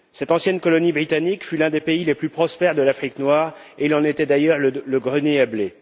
Cette ancienne colonie britannique fut l'un des pays les plus prospères de l'Afrique noire et il en était d'ailleurs le grenier à blé.